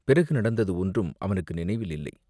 பிறகு நடந்தது ஒன்றும் அவனுக்கு நினைவில் இல்லை.